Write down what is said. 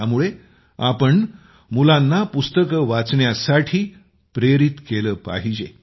त्यामुळे आपण मुलांना पुस्तके वाचण्यासाठी प्रेरित केले पाहिजे